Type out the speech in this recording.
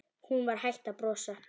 Hún var hætt að brosa.